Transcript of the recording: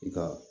I ka